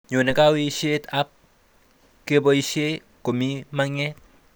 Nyone kaweishet ab keboishe komi maget